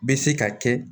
Bɛ se ka kɛ